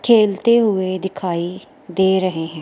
खेलते हुए दिखाइ दे रहे हैं।